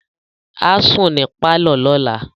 Á sùn ní pálọ̀ lọ́la